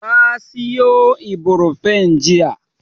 Ta sayo Ibrofen jiya.